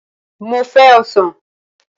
Mo fẹ́ Ọsàn